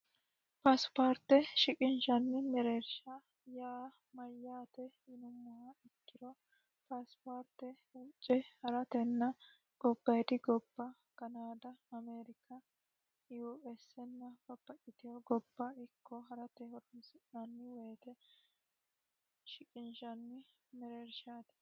paasipaarte shiqinishanni mereersha yaa mayyaate yinummo ikkiro paasipaarte wuucce haratenna gobbadi gobba kanaada amerika US nna babbaxitewo gobba ikko harate horonsi'nnni woyite shiqinishanni mereershaati